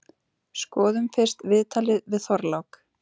Skoðum fyrst viðtalið við Þorlák.